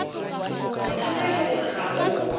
bothata ke gore ga go